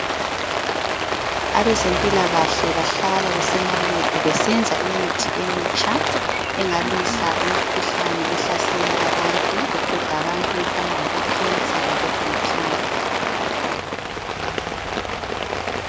Abezempilakahle bahlala besemalebhu besenza imithi emitsha engalwisa imikhuhlane ehlasela abantu eqeda abantu efana labo cancer labo BP.